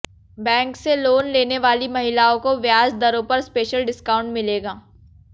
bank से loan लेने वाली महिलाओं को ब्याज दरों पर स्पेशल डिस्काउंट मिलेगा